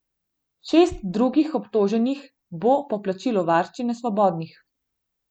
Šest drugih obtoženih bo po plačilu varščine svobodnih.